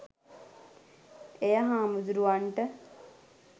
එය හාමුදුරුවන්ට